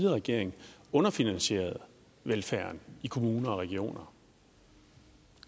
regering underfinansierede velfærden i kommuner og regioner